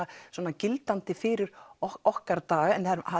gildandi fyrir okkar daga